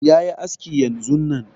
Yayi aski yanzun nan